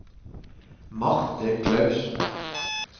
Marte Clausen